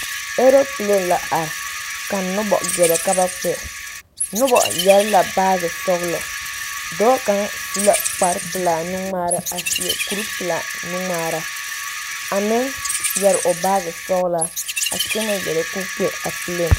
Aroplane la are ka nobɔ gɛrɛ ka ba kpɛ nobɔ yɛre la baagi sɔglɔ dɔɔ kaŋ su la kpare pelaa nu ngmaara a seɛ kuri pelaa nu ngmaara a meŋ yɛre o baagi sɔglaa a kyɛnɛ gɛrɛ ko kpɛ aroplane.